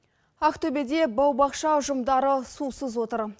ақтөбеде бау бақша ұжымдары сусыз отыр